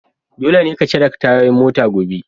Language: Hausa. Dole ne ka cire tayoyin mota gobe!